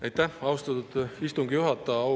Aitäh, austatud istungi juhataja!